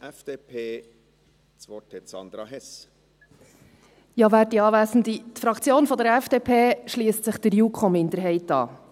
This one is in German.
Die Fraktion der FDP schliesst sich der JuKo-Minderheit an.